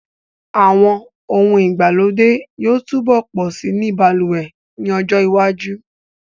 Àwọn ohun ìgbàlódé yóò túbọ̀ pọ̀ si ní balùwẹ̀ ní ọjọ́ iwájú